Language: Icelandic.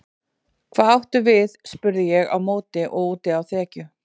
Hvað áttu við spurði ég á móti og úti á þekju.